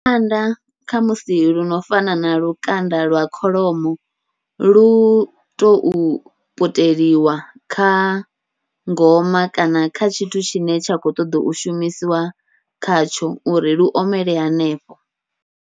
Kha musi luno fana na lukanda lwa kholomo luto puteliwa kha ngoma kana kha tshithu tshine tsha khou ṱoḓa u shumisiwa khatsho uri lu omele hanefho.